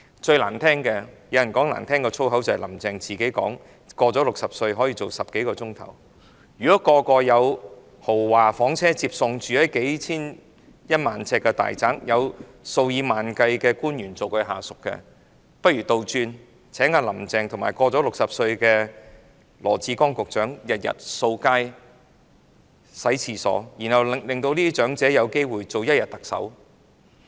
最難聽的是——有人說比粗言穢語更難聽——"林鄭"說自己"年過60歲仍每天工作10多小時"，如果人人有豪華房車接送，居於1萬平方呎的大宅，有數以萬計的官員作為下屬，不如倒過來，請"林鄭"與年過60歲的羅致光局長每天掃街、洗廁所，然後讓這些長者有機會做一天特首。